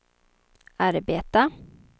arbeta